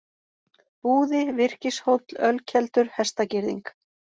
Búði, Virkishóll, Ölkeldur, Hestagirðing